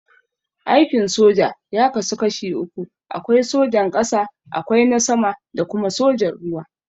Aikin soja ya kasu kashi uku, akwai sojan ƙasa, akwai na sama da kuma sojan ruwa.